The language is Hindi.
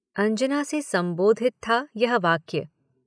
अंजना से संबोधित था यह वाक्य।